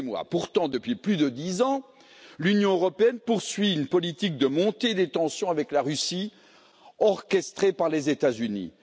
Pourtant, depuis plus de dix ans, l'Union européenne poursuit une politique de montée des tensions avec la Russie, orchestrée par les États Unis.